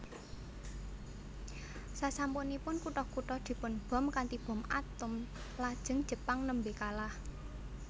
Sasampunipun kutha kutha dipunbom kanthi bom atom lajeng Jepang nembe kalah